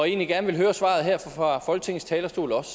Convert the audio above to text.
egentlig gerne høre svaret her fra folketingets talerstol også